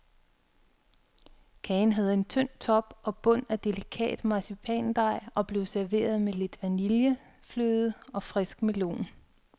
Kagen havde en tynd top og bund af delikat marcipandej og blev serveret med lidt vanillefløde og frisk melon.